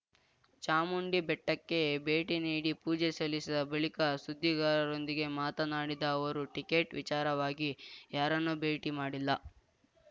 ಚಾಮುಂಡಿ ಬೆಟ್ಟಕ್ಕೆ ಭೇಟಿ ನೀಡಿ ಪೂಜೆ ಸಲ್ಲಿಸಿದ ಬಳಿಕ ಸುದ್ದಿಗಾರರೊಂದಿಗೆ ಮಾತನಾಡಿದ ಅವರು ಟಿಕೆಟ್ ವಿಚಾರವಾಗಿ ಯಾರನ್ನೂ ಭೇಟಿ ಮಾಡಿಲ್ಲ